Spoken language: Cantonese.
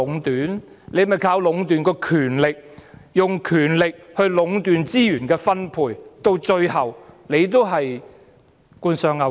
只是靠壟斷權力，用權力壟斷資源分配，最後亦是官商勾結。